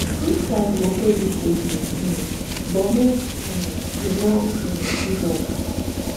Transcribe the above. dis life go show you shege um but make um you no um give up